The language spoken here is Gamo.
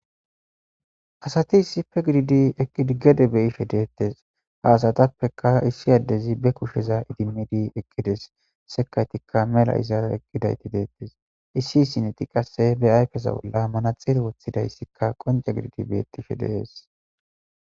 asati isife gididi eqigede beyishe deettes haasatappeka issi addezi be kusheza idimidi ekkides sekaytikka mela izaare ekkidayti deettes issi isineti qasse be ayfesa bolla manaxeel woththidayssikka qonca gididi beettishe de'es